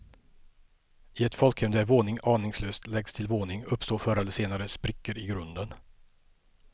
I ett folkhem där våning aningslöst läggs till våning uppstår förr eller senare sprickor i grunden.